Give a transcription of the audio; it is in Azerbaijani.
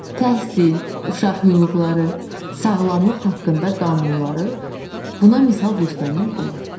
Təhsil, uşaq hüquqları, sağlamlıq haqqında qanunları buna misal göstərmək olar.